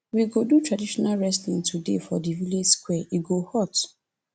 we go do traditional wrestling today for di village square e go hot